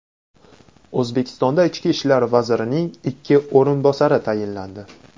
O‘zbekistonda Ichki ishlar vazirining ikki o‘rinbosari tayinlandi.